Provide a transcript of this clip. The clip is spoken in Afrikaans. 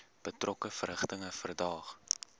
betrokke verrigtinge verdaag